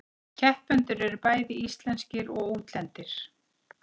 Keppendur eru bæði íslenskir og útlendir